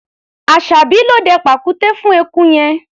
Aṣàbí ló dẹ pàkúté fún eku yẹn.